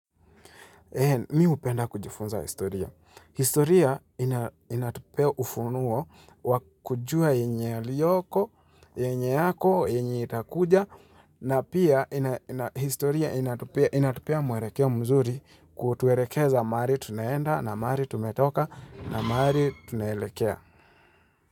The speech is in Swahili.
Mi hupenda kujifunza historia. Historia inatupea ufunuo wakujua yenye yaliyoko, yenye yako, yenye itakuja, na pia historia inatupea muerekeo mzuri kutuerekeza maari tunaenda na maari tumetoka na maari tunelekea.